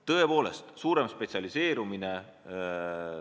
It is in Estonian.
Tõepoolest, mõtleme suuremale spetsialiseerumisele.